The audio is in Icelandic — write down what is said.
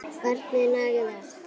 Barnið nagaði allt.